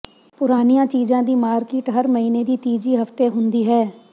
ਪੁਰਾਣੀਆਂ ਚੀਜ਼ਾਂ ਦੀ ਮਾਰਕੀਟ ਹਰ ਮਹੀਨੇ ਦੀ ਤੀਜੀ ਹਫਤੇ ਹੁੰਦੀ ਹੈ